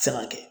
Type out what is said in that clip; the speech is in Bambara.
Fɛn ka kɛ